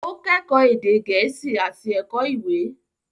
Ó kẹ́kọ̀ọ́ èdè Gẹ̀ẹ́sì àti Ẹ̀kọ́ Ìwé.